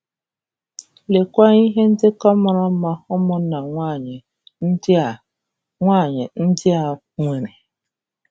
Leekwa ihe ndekọ mara mma ụmụnna nwaanyị ndị a nwaanyị ndị a um nwere!